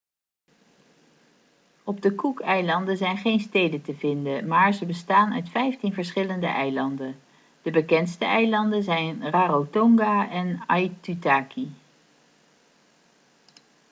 op de cookeilanden zijn geen steden te vinden maar ze bestaan uit vijftien verschillende eilanden de bekendste eilanden zijn rarotonga en aitutaki